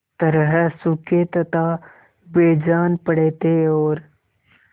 तरह सूखे तथा बेजान पड़े थे और